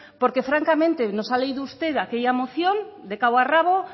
porque francamente nos ha leído usted aquella moción de cabo a rabo